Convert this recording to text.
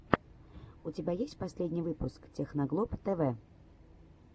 у тебя есть последний выпуск техноглоб тэвэ